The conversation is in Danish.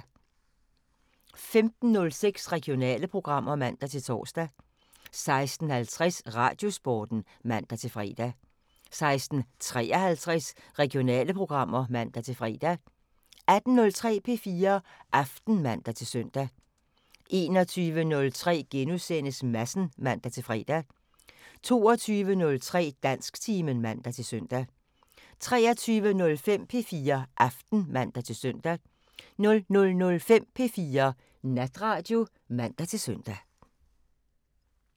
15:06: Regionale programmer (man-tor) 16:50: Radiosporten (man-fre) 16:53: Regionale programmer (man-fre) 18:03: P4 Aften (man-søn) 21:03: Madsen *(man-fre) 22:03: Dansktimen (man-søn) 23:05: P4 Aften (man-søn) 00:05: P4 Natradio (man-søn)